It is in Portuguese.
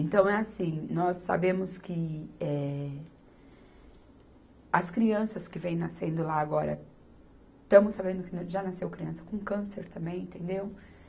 Então é assim, nós sabemos que, eh, as crianças que vêm nascendo lá agora, estamos sabendo que já nasceu criança com câncer também, entendeu?